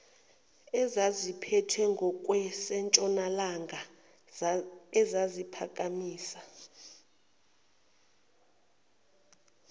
ezaziphethwe ngokwasentshonalanga eziphakamisa